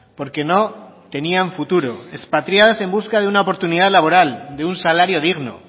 porque no tenían futuro expatriadas en busca de una oportunidad laboral de un salario digno